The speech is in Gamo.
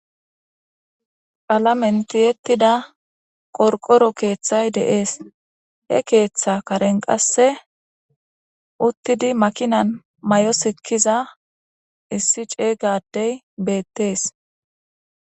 Palamenti yettida qorqoro keeththay deees he keeththa karen qasse uttidi makinan may'o sikkiza issi ceygadey beettes.